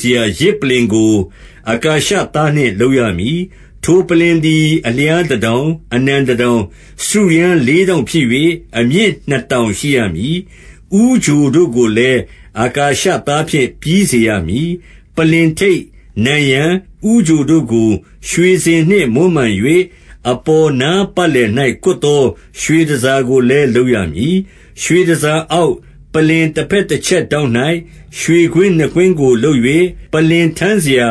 စရာ ယဇ်ပလ္လင်ကို အကာရှသားနှင့် လုပ်ရမည်။ ထိုပလ္လင်သည် အလျားတတောင်၊ အနံတတောင်၊ စတုရန်းလေးထောင့်ဖြစ်၍၊ အမြင့်နှစ်တောင်ရှိ ရမည်။ ဦးချိုတို့ကိုလည်း အကာရှသားဖြင့် ပြီးစေရမည်။ ပလ္လင်ထိပ်၊ နံရံ၊ ဦးချိုတို့ကို ရွှေစင်နှင့် မွမ်းမံ၍၊ အပေါ်နားပတ်လည်၌ ကွပ်သော ရွှေတန်ဆာကိုလည်း လုပ်ရမည်။ ရွှေတန်ဆာအောက်၊ ပလ္လင်တဘက်တချက်ထောင့်၌ ရွှေကွင်းနှစ်ကွင်းကို လုပ်၍၊ ပလ္လင်ထမ်းစရာ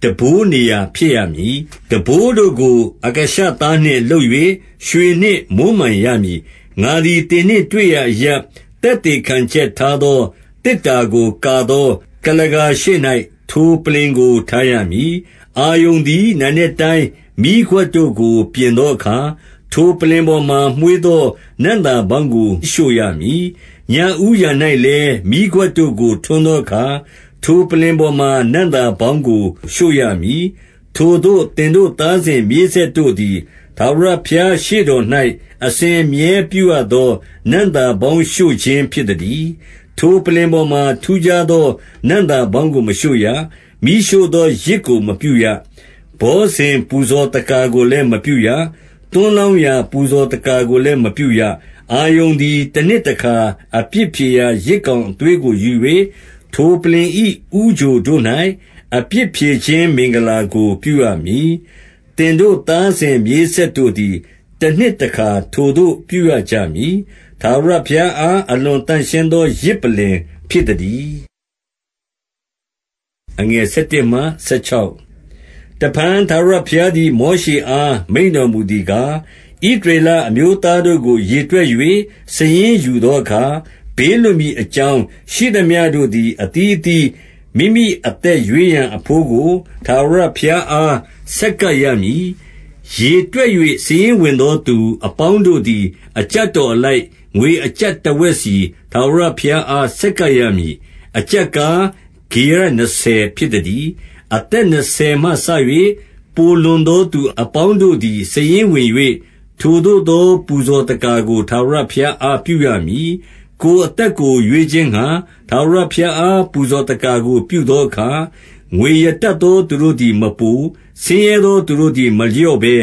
ထမ်းဘိုးနေရာ ဖြစ်ရမည်။ ထမ်းဘိုးတို့ကို အကာရှသားနှင့် လုပ်၍ ရွှေနှင့်မွမ်းမံခံရမည်။ ငါသည် သင်နှင့်တွေ့ရာအရပ်၊ သက်သေခံချက် ထားသောသေတ္တာကို ကာသော ကုလားကာရှေ့၌ ထိုပလ္လင်ကို ထားရမည်။ အာရုန်သည် နံနက်တိုင်း မီးခွက်တို့ကို ပြင်သောအခါ၊ ထိုပလ္လင်ပေါ်မှာ မွှေးသော နံ့သာပေါင်းကို ရှို့ရမည်။ ညဦးယံ၌လည်း မီးခွက်တို့ကို ထွန်းသောအခါ၊ ထိုပလ္လင်ပေါ်မှာ နံ့သာပေါင်းကို ရှို့ရမည်။ ထိုသို့ သင်တို့ သားစဉ်မြေးဆက်တို့သည် ထာဝရဘုရား ရှေ့တော်၌ အစဉ်အမြဲ ပြုရသော နံ့သာ ပေါင်းရှို့ခြင်း ဖြစ်သတည်း။ ထိုပလ္လင်ပေါ်မှာ ထူးခြားသော နံ့သာပေါင်းကို မရှို့ရ။ မီးရှို့သော ယဇ်ကို မပြုရ။ ဘောဇဉ် ပူဇော်သက္ကာကိုလည်း မပြုရ။ သွန်းလောင်းရာ ပူဇော်သက္ကာကိုလည်း မပြုရ။ အာရုန်သည် တနှစ်တခါ အပြစ်ဖြေရာယဇ် ကောင်းအသွေးကိုယူ၍၊ ထိုပလ္လင်၏ ဦးချိုတို့၌ အပြစ်ဖြေခြင်း မင်္ဂလာကို ပြုရမည်။ သင်တို့ သားစဉ်မြေးဆက်တို့သည် တနှစ်တခါ ထိုသို့ ပြုရ ကြမည်။ ထာဝရဘုရားအား အလွန်သန့်ရှင်းသော ယဇ်ပလ္လင်ဖြစ်သည်။ တဖန် ထာဝရဘုရားသည်၊ မောရှေအား မိန့်တော်မူသည်ကား၊ ဣသရေလအမျိုးသားတို့ကို ရေတွက်၍ စာရင်းယူသောအခါ၊ ဘေးလွတ်မည်အကြောင်း ရှိသမျှ တို့သည် အသီးအသီး မိမိအသက်ရွေးရန် အဘိုးကို ထာဝရဘုရားအား ဆက်ကပ်ရမည်။ ရေတွက်၍ စာရင်းဝင်သော သူအပေါင်းတို့သည် အကျပ်တော်အလိုက်၊ ငွေအကျပ်တဝက်စီ ထာဝရဘုရားအား ဆက်ကပ်ရမည်။ အကျပ်ကား၊ ဂေရ နှစ်ဆယ်ဖြစ်သတည်း။ အသက်နှစ်ဆယ်မှစ၍၊ ပိုလွန်သောသူ အပေါင်းတို့သည် စာရင်းဝင်၍၊ ထိုသို့သော ပူဇော်သက္ကာကို ထာဝရဘုရား အားပြုရမည်။ ကိုယ်အသက်ကို ရွေးခြင်းငှါ၊ ထာဝရဘုရားအား ပူဇော်သက္ကာကို ပြုသောအခါ၊ ငွေရတတ်သော သူတို့သည် မပို၊ ဆင်းရဲသော သူတို့သည် မလျှော့ဘဲ၊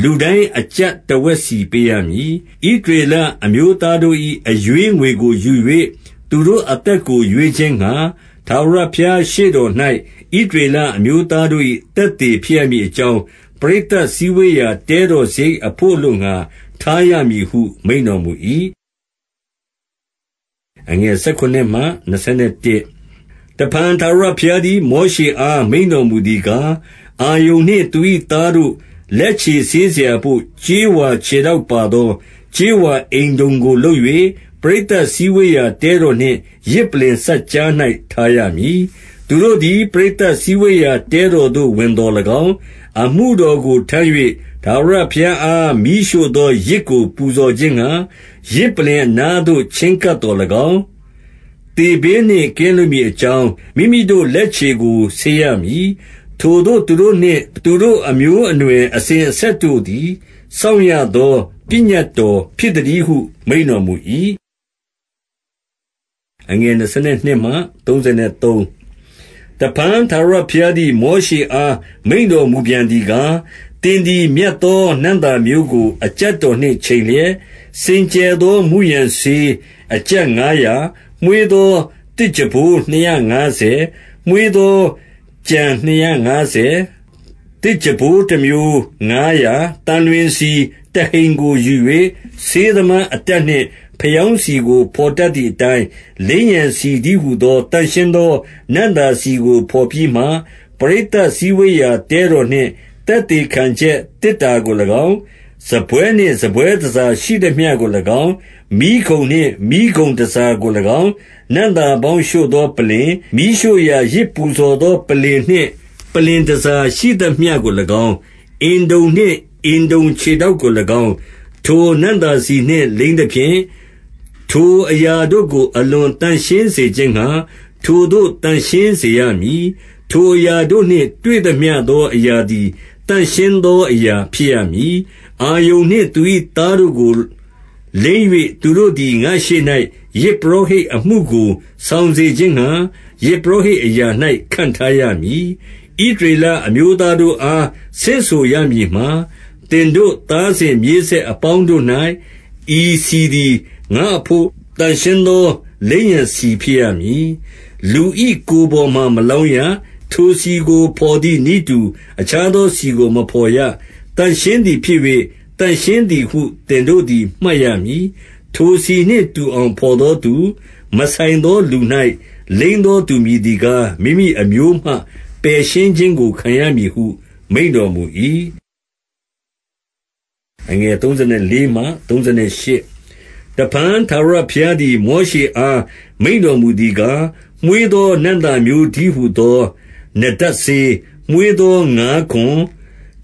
လူတိုင်း အကျပ်တဝက်စီ ပေးရမည်။ ဣသရေလအမျိုးသားတို့၏ အရွေးငွေကို ယူ၍ သူတို့အသက်ကို ရွေးခြင်းငှာ၊ ထာဝရဘုရားရှေ့တော်၌ ဣသရေလအမျိုးသားတို့၏ သက်သေဖြစ်ရမည်အကြောင်း၊ ပရိသတ်စည်းဝေးရာ တဲတော်စရိတ်အဘို့ အလိုငှာ ထားရမည်ဟု မိန့်တော်မူ၏။ တဖန် ထာဝရဘုရားသည်၊ မောရှေအား မိန့်တော်မူသည်ကား၊ အာရုန်နှင့် သူ၏သားတို့ လက်ခြေဆေးစရာဘို့ ကြေးဝါခြေထောက်ပါသော ကြေးဝါအင်တုံကို လုပ်၍၊ ပရိသတ်စည်းဝေးရာ တဲတော်နှင့် ယဇ်ပလ္လင်စပ်ကြား၌ ထားရမည်။ သူတို့သည် ပရိသတ်စည်းဝေးရာ တဲတော်သို့ ဝင်သော်၎င်း၊၊ အမှုတော်ကို ထမ်း၍ ထာဝရဘုရားအား မီးရှို့သောယဇ်ကို ပူဇော်ခြင်းငှာ၊ ယဇ်ပလ္လင်အနားသို့ ချဉ်းကပ်သော်၎င်း၊ သေဘေးနှင့် ကင်းလွတ်မည်အကြောင်း၊ မိမိတို့လက်ခြေကို ဆေးရမည်။ ထိုသို့သူတို့နှင့် သူတို့အမျိုး အနွယ်အစဉ်အဆက်တို့သည် စောင့်ရသော ပညတ်တော်ဖြစ်သတည်းဟု မိန့်တော်မူ၏။ တဖန် ထာဝရဘုရားသည်၊ မောရှေအား မိန့်တော်မူပြန်သည်ကား၊ သင်သည် မြတ်သောနံ့သာမျိုးကို အကျပ်တော်နှင့်ချိန်လျက်၊ စင်ကြယ်သော မုရန်စေး အကျပ်ငါးရာ၊ မွှေးသော သစ်ကြံပိုးနှစ်ရာငါးဆယ်၊ မွှေးသောကြံနှစ်ရာငါးဆယ်၊ သစ်ကြံပိုးတမျိုးငါးရာ၊ သံလွင်ဆီတဟိန်ကို ယူ၍၊ ဆေးသမားအတတ်နှင့် ဖယောင်းဆီကို ဘော်တတ်သည်အတိုင်း၊ လိမ်းရန်ဆီတည်းဟူသော သန့်ရှင်းသော နံ့သာဆီကို ဘော်ပြီးမှ၊ ပရိသတ်စည်းဝေးရာ တဲတော်နှင့် သက်သေခံချက်သေတ္တာကို၎င်း၊ စားပွဲနှင့် စားပွဲတန်ဆာရှိသမျှကို၎င်း၊ မီးခုံနှင့် မီးခုံတန်ဆာကို၎င်း၊ နံ့သာပေါင်းရှို့သောပလ္လင်၊ မီးရှို့ရာ ယဇ်ပူဇော်သောပလ္လင်နှင့် ပလ္လင်တန်ဆာရှိသမျှကို၎င်း၊ အင်တုံနှင့် အင်တုံခြေထောက်ကို၎င်း၊ ထိုနံ့သာဆီနှင့် လိမ်းသဖြင့်၊ ထိုအရာတို့ကို အလွန်သန့်ရှင်းစေခြင်းငှာ၊ ထိုသို့ သန့်ရှင်းစေရမည်။ ထိုအရာတို့နှင့် တွေ့သမျှသော အရာသည် သန့်ရှင်းသောအရာဖြစ်ရမည်။ အာရုန်နှင့် သူ၏သားတို့ကို လိမ်း၍၊ သူတို့သည် ငါ့ရှေ့၌ ယဇ်ပုရောဟိတ်အမှုကို ဆောင်စေခြင်းငှာ၊ ယဇ်ပုရောဟိတ်အရာ၌ ခန့်ထားရမည်။ ဣသရေလအမျိုးသားတို့အား ဆင့်ဆိုရမည်မှာ၊ သင်တို့သားစဉ်မြေးဆက်အပေါင်းတို့၌ ဤဆီသည်၊ ငါ့အဘို့ သန့်ရှင်းသော လိမ်းရန်ဆီ ဖြစ်ရမည်။ လူ၏ကိုယ်ပေါ်မှာ မလောင်းရ။ ထိုဆီကို ဘော်သည်နည်းတူ၊ အခြားသောဆီကို မဘော်ရ။ သန့်ရှင်းသည်ဖြစ်၍၊ သန့်ရှင်းသည်ဟု သင်တို့သည် မှတ်ရမည်။ ထိုဆီနှင့်တူအောင် ဘော်သောသူ၊ မဆိုင်သောလူ၌ လိမ်းသောသူမည်သည်ကား၊ မိမိအမျိုးမှ ပယ်ရှင်းခြင်းကို ခံရမည်ဟု မိန့်တော်မူ၏။ တဖန် ထာဝရဘုရားသည်၊ မောရှေအား မိန့်တော်မူသည်ကား၊ မွှေးသော နံ့သာမျိုးတည်းဟူသော နတပ်စေး၊ မွှေးသော ငါးခွံ၊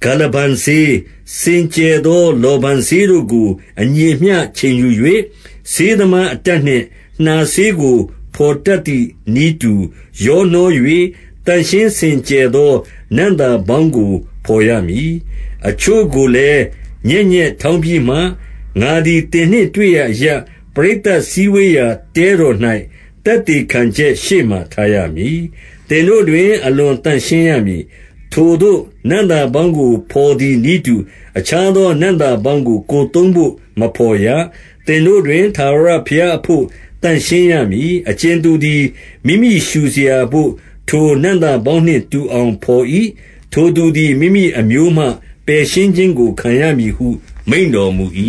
ဂါလဗန်စေး၊ စင်သော လောဗန်စေးတို့ကို အညီအမျှ ချိန်ယူ၍၊ ဆေးသမားအတတ်နှင့် နှာဆေးကို ဘော်တတ်သည်နည်းတူ ရောနှော၍၊ သန့်ရှင်းစင်ကြယ်သော နံ့သာပေါင်းကို ဘော်ရမည်။ အချို့ကိုလည်း ညက်ညက်ထောင်းပြီးမှ၊ ငါသည် သင်နှင့်တွေ့ရာအရပ်၊ ပရိသတ်စည်းဝေးရာတဲတော်၌ သက်သေခံချက်ရှေ့မှာ ထားရမည်။ သင်တို့တွင် အလွန်သန့်ရှင်းရမည်။ ထိုသို့သော နံ့သာပေါင်းကို ဘော်သည်နည်းတူ၊ အခြားသော နံ့သာပေါင်းကို ကိုယ်သုံးဘို့ မဘော်ရ။ သင်တို့တွင် ထာဝရဘုရားအဘို့ သန့်ရှင်းရမည်။ အကြင်သူသည် မိမိရှို့စရာဘို့ ထိုနံ့သာပေါင်းနှင့် တူအောင်ဘော်၏။ ထိုသူသည် မိမိအမျိုးမှ ပယ်ရှင်းခြင်းကို ခံရမည်ဟု မိန့်တော်မူ၏။